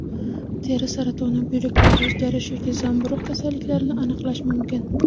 Teri saratoni, buyraklarda o‘zgarish yoki zamburug‘ kasalliklarini aniqlash mumkin.